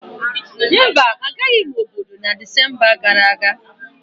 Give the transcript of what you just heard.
mba, Agaraghị m obodo na Disemba gara aga